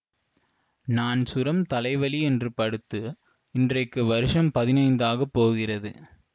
நான் சுரம் தலைவலி என்று படுத்து இன்றைக்கு வருஷம் பதினைந்து ஆகப்போகிறது